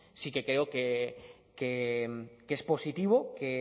sí que creo que es positivo que